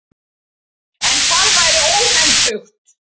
En það væri óhentugt.